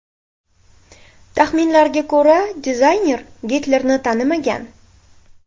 Taxminlarga ko‘ra, dizayner Gitlerni tanimagan.